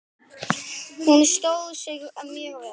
Hún stóð sig mjög vel.